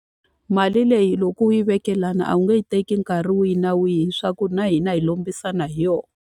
Mali leyi loko u yi veke la wona a wu nge yi teki nkarhi wihi na wihi leswaku na hina hi lombisana hi yona.